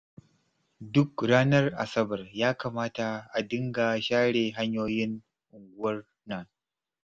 Duk ranar Asabar ya kamata a dinga share hanyoyin unguwar nan